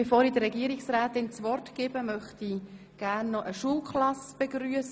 Bevor ich der Regierungsrätin das Wort gebe, möchte ich eine Schulklasse begrüssen.